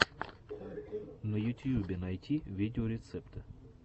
на ютьюбе найти видеорецепты